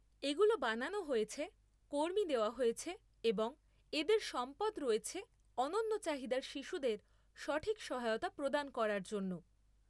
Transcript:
এগুলো বানানো হয়েছে, কর্মী দেওয়া হয়েছে এবং এদের সম্পদ রয়েছে অনন্য চাহিদার শিশুদের সঠিক সহায়তা প্রদান করার জন্য।